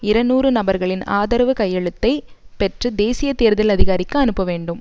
இருநூறு நபர்களின் ஆதரவு கையெழுத்தைப் பெற்று தேசிய தேர்தல் அதிகாரிக்கு அனுப்ப வேண்டும்